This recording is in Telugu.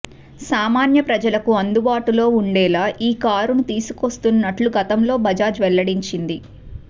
సామాన్య ప్రజలకు అందుబాటులో ఉండేలా ఈ కారును తీసుకొస్తున్నట్లు గతంలో బజాజ్ వెల్లడించింది